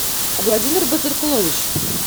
владимир базыркулович